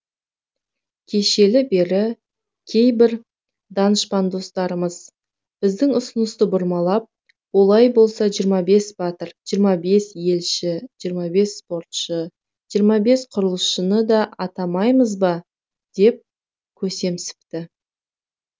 кешелі бері кейбір данышпан достарымыз біздің ұсынысты бұрмалап олай болса жиырма бес батыр жиырма бес елші жиырма бес спортшы жиырма бес құрылысшыны да атамаймыз ба деп көсемсіпті